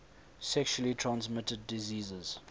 sexually transmitted diseases